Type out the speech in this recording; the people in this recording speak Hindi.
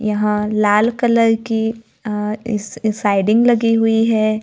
यहां लाल कलर की अ स्लाइडिंग लगी हुई है।